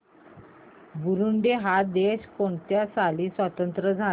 Burundi हा देश कोणत्या साली स्वातंत्र्य झाला